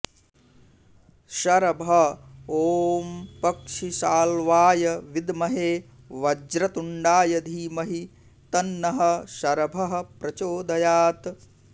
शरभ ॐ पक्षिसाल्वाय विद्महे वज्रतुण्डाय धीमहि तन्नः शरभः प्रचोदयात्